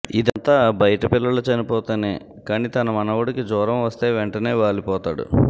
ఇదంతా బయట పిల్లలు చనిపోతేనే కాని తన మనవడికి జ్వరం వస్తే వెంటనే వాలిపోతడు